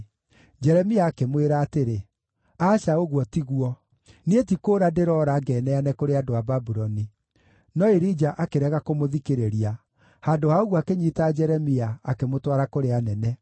Jeremia akĩmwĩra atĩrĩ, “Aca ũguo tiguo! Niĩ ti kũũra ndĩroora ngeneane kũrĩ andũ a Babuloni.” No Irija akĩrega kũmũthikĩrĩria; handũ ha ũguo akĩnyiita Jeremia, akĩmũtwara kũrĩ anene.